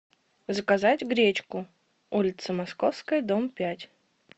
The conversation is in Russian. заказать гречку улица московская дом пять